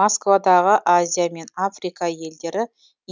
москвадағы азия мен африка елдері